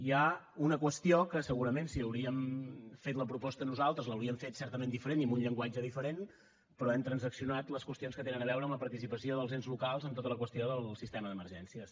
hi ha una qüestió que segurament si haguéssim fet la proposta nosaltres l’hauríem fet certament diferent i amb un llenguatge diferent però hem transaccionat les qüestions que tenen a veure amb la participació dels ens locals en tota la qüestió del sistema d’emergències